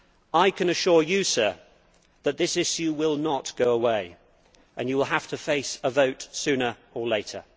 I can assure you, Sir, that this issue will not go away, and you will have to face a vote sooner or later.